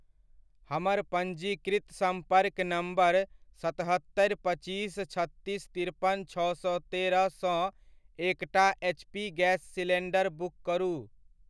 हमर पञ्जीकृत सम्पर्क नम्बर सतहत्तरि, पच्चीस, छत्तीस, तिरपन, छओ सए तेरह सँ एकटा एचपी गैस सिलीण्डर बुक करू।